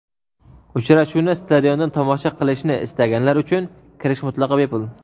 Uchrashuvni stadiondan tomosha qilishni istaganlar uchun kirish mutlaqo bepul.